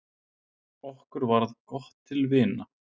Okkur varð gott til vina.